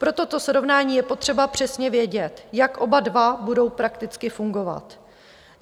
Pro toto srovnání je potřeba přesně vědět, jak oba dva budou prakticky fungovat.